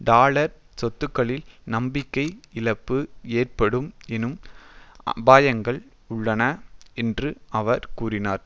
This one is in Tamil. டாலர் சொத்துக்களில் நம்பிக்கை இழப்பு ஏற்படும் என்னும் அபாயங்கள் உள்ளன என்று அவர் கூறினார்